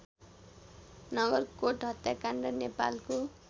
नगरकोट हत्याकाण्ड नेपालको